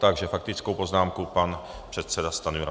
Takže faktickou poznámku pan předseda Stanjura.